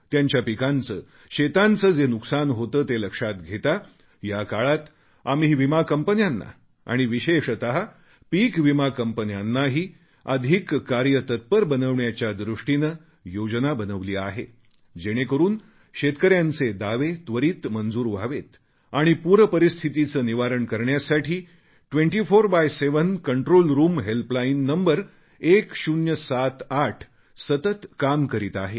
त्यांच्या पिकांचे शेतांचे जे नुकसान होते ते लक्षात घेता या काळात आम्ही विमा कंपन्यांना आणि विशेषत पिकविमा कंपन्यांनाही अधिक कार्यतत्पर बनविण्याच्या दृष्टीने योजना बनवली आहे जेणेकरून शेतकऱ्यांचे दावे त्वरीत मंजूर व्हावेत आणि पूरपरिस्थितीचे निवारण करण्यासाठी 24X7 control room helpline number 1078 सतत काम करीत आहे